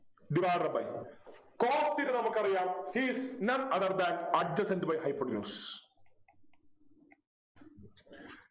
divided by cos theta നമുക്കറിയാം He is none other than adjacent by hypotenuse